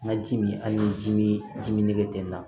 N ka ji min hali ni ji mi ji min ten